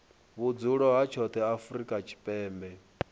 vhudzulo ha tshoṱhe afrika tshipembe